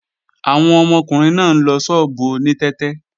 Àwọn ọmọkùnrin náà ń lọ ṣọ́ọ̀bù oní tẹ́tẹ́